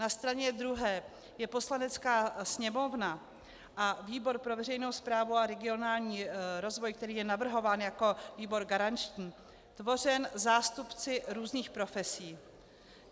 Na straně druhé jsou Poslanecká sněmovna a výbor pro veřejnou správu a regionální rozvoj, který je navrhován jako výbor garanční, tvořeny zástupci různých profesí.